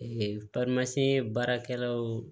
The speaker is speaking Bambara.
baarakɛlaw